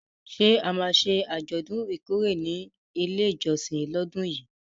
Ṣé a máa ṣe àjọ̀dún ìkórè ní ilé ìjọsìn lọ́dún yìí?